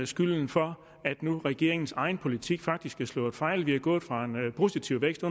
skylden for at regeringens egen politik faktisk har slået fejl vi er gået fra en positiv vækst